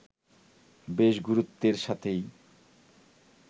বেশ গুরুত্বের সাথেই